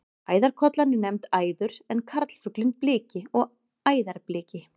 Æðarkollan er nefnd æður en karlfuglinn bliki og æðarbliki.